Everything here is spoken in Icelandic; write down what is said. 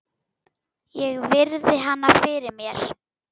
Ég virði hana fyrir mér.